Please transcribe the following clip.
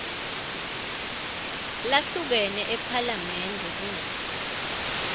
lahlukene ephalamende kutsi